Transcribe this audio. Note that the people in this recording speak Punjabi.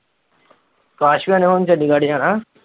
ਅਕਾਸ ਭਈਆ ਨੇ ਹੁਣ ਚੰਡੀਗੜ੍ਹ ਜਾਣਾ।